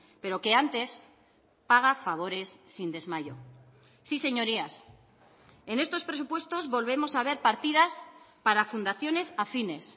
pero que antes paga favores sin desmayos sí señorías en estos presupuestos volvemos a ver partidas para fundaciones afines